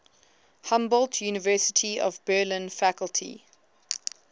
humboldt university of berlin faculty